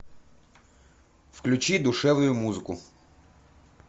включи душевную музыку